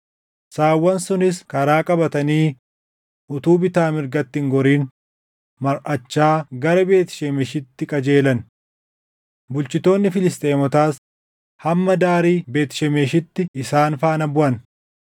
Saawwan sunis karaa qabatanii utuu bitaa mirgatti hin gorin marʼachaa gara Beet Shemeshitti qajeelan. Bulchitoonni Filisxeemotaas hamma daarii Beet Shemeshitti isaan faana buʼan.